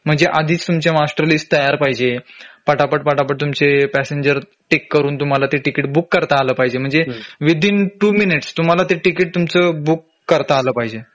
म्हणजे आधीच तुमची मास्टर लिस्ट तयार पाहिजे पटापटपटापट तुमचे पॅसेंजर टिक करून तुम्हाला ते तिकीट बुक करता आलं पाहिजे म्हणजे विदिन टू मिनिट्स तुम्हला ते तिकीट तुमचं बुक करता आलं पाहिजे